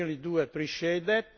I really do appreciate that.